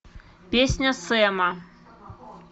песня сэма